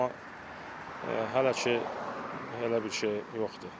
Amma hələ ki, elə bir şey yoxdur.